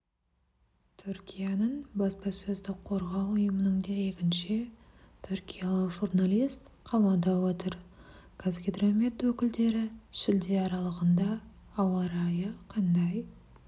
түркияның баспасөзді қорғау ұйымының дерегінше түркиялық журналист қамауда отыр қазгидромет өкілдері шілде аралығында ауа райы қандай